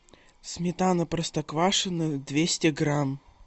сметана простоквашино двести грамм